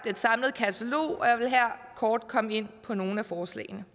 et samlet katalog og jeg vil her kort komme ind på nogle af forslagene